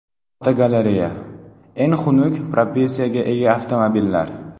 Fotogalereya: Eng xunuk proporsiyaga ega avtomobillar.